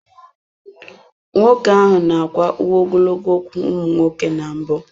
Nwoke ahụ n'akwa uwe ogologo ụkwụ ụmụ nwoke na mbụ.